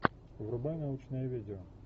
врубай научное видео